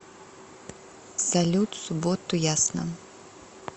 салют субботу ясно